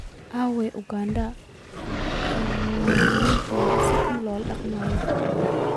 Aaway Uganda oo muwaadiniinteeda si xun loola dhaqmayo?